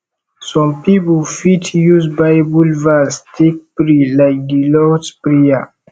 some pipo fit use bible verse take pray like di lords prayer